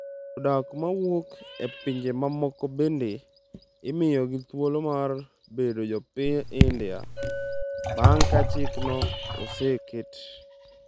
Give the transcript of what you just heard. Jodak ma wuok e pinje mamoko bende imiyogi thuolo mar bedo jopiny India bang’ ka chikno oseket.